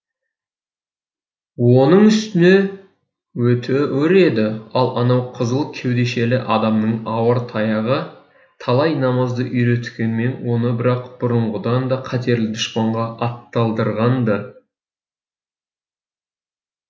оның үстіне өте өр еді ал анау қызыл кеудешелі адамның ауыр таяғы талай намазды үйреткенмен оны бірақ бұрынғыдан да қатерлі дұшпанға атталдырған ды